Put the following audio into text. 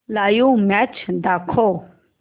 live match दाखव